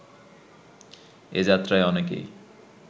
এ যাত্রায় অনেকেই